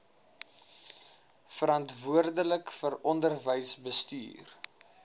verantwoordelik vir onderwysbestuur